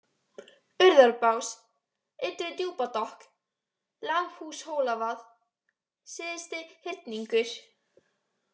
Urðarbás, Ytri-Djúpadokk, Lambhúshólavað, Syðsti-Hyrningur